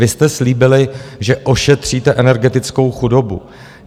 Vy jste slíbili, že ošetříte energetickou chudobu.